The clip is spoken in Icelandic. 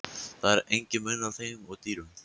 Það er enginn munur á þeim og dýrum.